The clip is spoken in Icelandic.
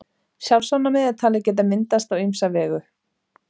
Sjálfsofnæmi er talið geta myndast á ýmsa vegu.